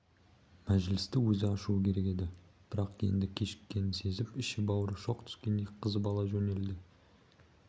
мәжілісті өзі ашуы керек еді бірақ енді кешіккенін сезіп іші-бауыры шоқ түскендей қызып ала жөнелді